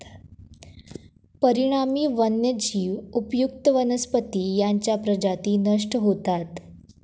परिणामी वन्यजीव, उपयुक्त वनस्पती यांच्या प्रजाती नष्ट होतात.